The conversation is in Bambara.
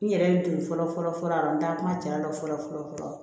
N yɛrɛ den fɔlɔ fɔlɔ fɔlɔ n ta kuma ja la fɔlɔ fɔlɔ fɔlɔ